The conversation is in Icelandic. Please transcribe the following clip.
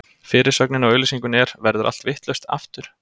Fyrirsögnin á auglýsingunni er: Verður allt vitlaust, aftur?